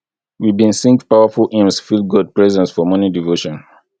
we bin sing powerful hymns feel god presence for morning devotion